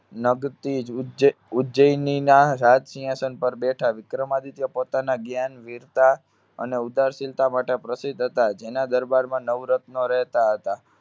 નભ ઉજ્~ઉજ્જૈનીના રાજસિંહાસન પર બેઠા. વિક્રમાદિત્ય પોતાના જ્ઞાન, વીરતા અને ઉદારશીલતા માટે પ્રસિદ્ધ હતા. જેના દરબારમાં નવરત્ન રહેતા હતા.